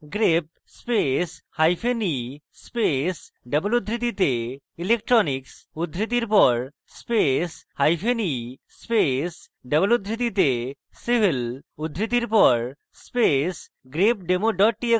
grep space hyphen e space double উদ্ধৃতিতে electronics উদ্ধৃতির পর space hyphen e space double উদ্ধৃতিতে civil উদ্ধৃতির পর space grepdemo double txt